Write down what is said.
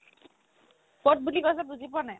ক'ত বুলি কৈছে বুজি পোৱা নাই